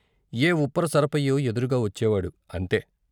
ఏ ఉప్పర సరపయ్యో ఎదురుగా వచ్చేవాడు అంతే.